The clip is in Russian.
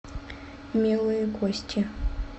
милые кости